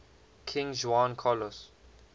king juan carlos